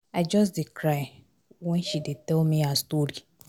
I just dey cry wen she dey tell me her story